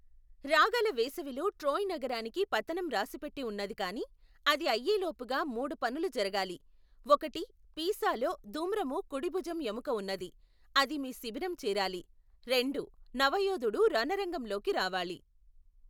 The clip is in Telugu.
రాగల వేసవిలో ట్రోయ్ నగరానికి పతనం రాసిపెట్టి ఉన్నది కాని అది అయేలోపుగా మూడు పనులు జరగాలి. ఒకటి పీసాలో ధూమ్రము ఖుడి భుజం ఎముక ఉన్నది , అది మీ శిబిరం చేరాలి. రెండు నవయోధుడు రణరంగం లోకి రావాలి.